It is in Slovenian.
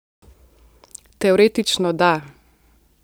Teoretično da.